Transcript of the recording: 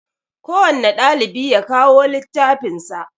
Kowanne ɗalibi ya kawo littafin sa